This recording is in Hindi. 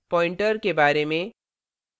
pointer pointer के बारे में